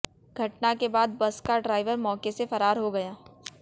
घटना के बाद बस का ड्राइवर मौके से फरार हो गया